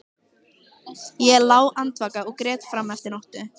Ég lá andvaka og grét fram eftir nóttu.